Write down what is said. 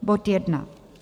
Bod jedna.